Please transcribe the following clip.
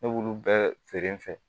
Ne b'olu bɛɛ feere n fɛ